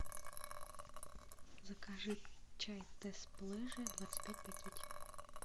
закажи чай тесс плеже двадцать пять пакетиков